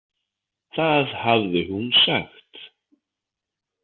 Það hafði hún sagt.